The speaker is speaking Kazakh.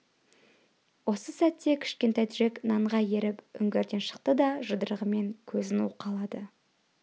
осы сәтте кішкентай джек нанға еріп үңгірден шықты да жұдырығымен көзін уқалады